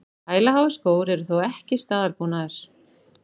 Hælaháir skór eru þó ekki staðalbúnaður